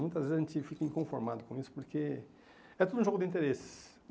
Muitas vezes a gente fica inconformado com isso porque é tudo um jogo de interesses.